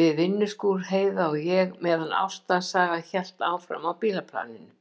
við vinnuskúr, Heiða og ég, meðan ástarsagan hélt áfram á bílaplaninu.